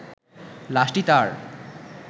লাশটি তার